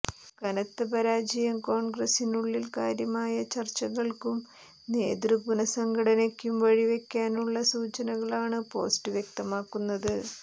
കനത്ത പരാജയം കോൺഗ്രസ്സിനുള്ളിൽ കാര്യമായ ചർച്ചകൾക്കും നേതൃ പുനഃസംഘടനക്കും വഴിവെക്കാനുള്ള സൂചനകളാണ് പോസ്റ്റ് വ്യക്തമാക്കുന്നത്